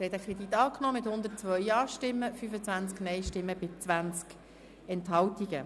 Sie haben den Kredit angenommen mit 102 Ja- gegen 25 Nein-Stimmen bei 20 Enthaltungen.